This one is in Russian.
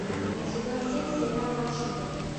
сезон семь сериала шуберт